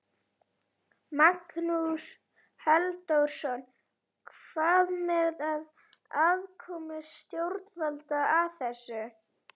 Magnús Halldórsson: Hvað með aðkomu stjórnvalda að þessu?